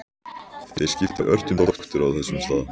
Þeir skiptu ört um doktora á þessum stað.